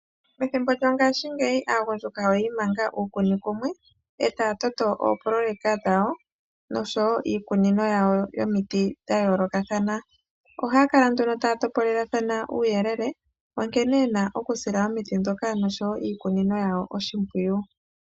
Methimbo lyongaashingeyi aagundjuka oyi imanga uukuni kumwe eta ya toto oopoloyeka dhawo nosho woo iikunino yomito dhawo ya yoolokathana. Ohaa kala nduno taa topolelathana uuyelele wa nkene ye na okusila oshimpwiyu iikunino nosho woo omiti dhawo.